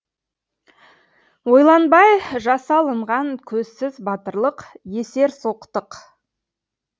ойланбай жасалынған көзсіз батырлық есерсоқтық